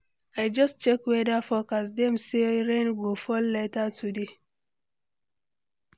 I just check weather forecast, dem say rain go fall later today.